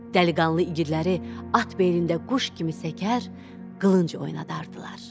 Dəliqanlı iqidləri at belində quş kimi səkər, qılınc oynadardılar.